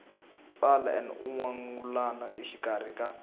tsala n wangulano exikarhi ka